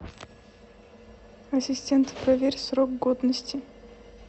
ассистент проверь срок годности